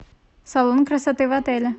салон красоты в отеле